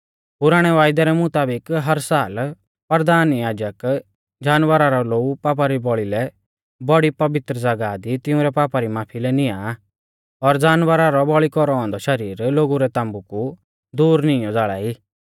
पुराणै वायदै रै मुताबिक हर साल परधान याजक जानवरा रौ लोऊ पापा री बौल़ी लै बौड़ी पवित्र ज़ागाह दी तिउंरै पापा री माफी लै निआं आ और जानवरा रौ बौल़ी कौरौ औन्दौ शरीर लोगु रै ताम्बु कु दूर निईंयौ ज़ाल़ा ई